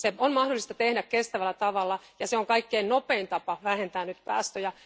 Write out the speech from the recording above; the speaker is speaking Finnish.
Se on mahdollista tehdä kestävällä tavalla ja se on kaikkein nopein tapa vähentää nyt päästöjä.